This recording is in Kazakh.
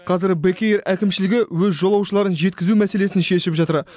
қазір бек эйр әкімшілігі өз жолаушыларын жеткізу мәселесін шешіп жатыр